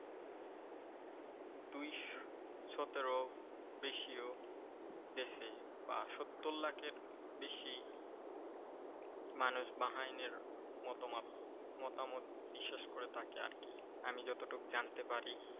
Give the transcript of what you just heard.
দেশে বা সত্তর লাখেরও বেশি মানুষ বাহাইনের মতবাদ মতামত বিশ্বাস করে থাকে আর কি। আমি যতটুকু জানতে পারি।